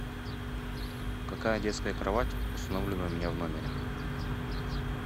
какая детская кровать установлена у меня в номере